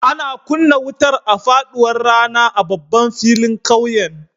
Ana kunna wutar a faɗuwar rana a babban filin ƙauyen.